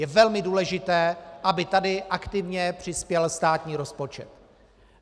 Je velmi důležité, aby tady aktivně přispěl státní rozpočet.